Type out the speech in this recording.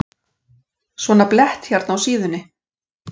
Svona blett hérna á síðunni.